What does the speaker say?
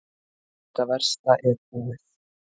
Þetta versta er búið.